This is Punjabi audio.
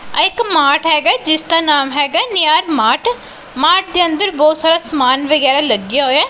ਆਹ ਇੱਕ ਮਾਰਟ ਹੈਗਾ ਹੈ ਜਿੱਸ ਦਾ ਨਾਮ ਹੈਗਾ ਹੈ ਨਿਅਰ ਮਾਰਟ ਮਾਰਟ ਦੇ ਅੰਦਰ ਬਹੁਤ ਸਾਰਾ ਸਮਾਨ ਵਗੈਰਾ ਲੱਗਿਆ ਹੋਇਆ ਹੈ।